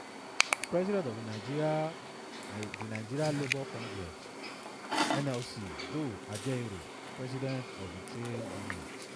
president of di nigeria di nigeria labour congress (nlc) joe ajaero president of di trade union